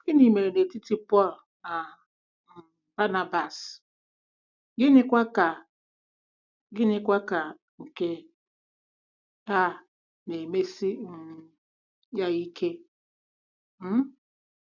Gịnị mere n’etiti Pọl na um Banabas, gịnịkwa ka gịnịkwa ka nke a na-emesi um ya ike? um